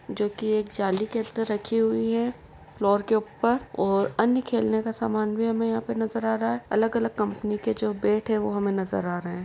जो की एक जाली के अंदर रखी हुई है फ्लोर के उप्पर ओर अन्य खेलने का सामान भी हमें यहां पे नजर आ रहा है अलग अलग कंपनी के जो बैट हैं वो हमें नजर आ रहे हैं।